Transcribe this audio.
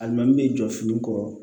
Alimami min be jɔ fini kɔrɔ